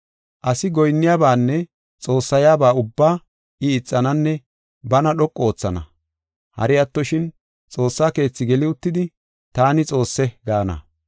Asi goyinniyabanne xoossayaba ubbaa I ixananne bana dhoqu oothana. Hari attoshin, Xoossa keethi geli uttidi, “Taani Xoosse” gaana.